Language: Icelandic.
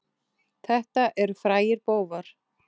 Þetta eru frægir bófar.